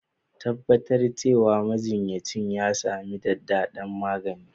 Tabbatar cewa majinyacin ya sami adadin maganin.